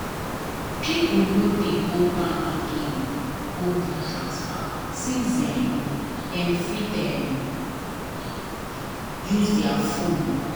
people nor dey go bank again go do transfer since um them um fit use there phone now